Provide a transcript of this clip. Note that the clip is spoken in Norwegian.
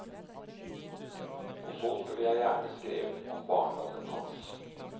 Og så skulle jeg gjerne skrevet om barndommen hans.